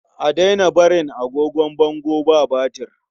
A daina barin agogon bango ba batir.